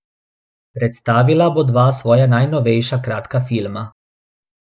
Predstavila bo dva svoja najnovejša kratka filma.